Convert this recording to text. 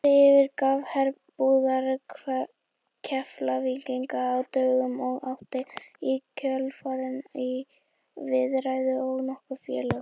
Andri yfirgaf herbúðir Keflvíkinga á dögunum og átti í kjölfarið í viðræðum við nokkur félög.